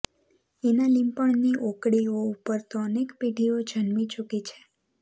એના લીંપણની ઓકળીઓ ઉપર તો અનેક પેઢીઓ જન્મી ચૂકી છે